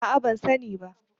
A'a ban sani ba.